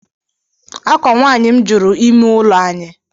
Akwa nwaanyi m juru ime ụlọ anyị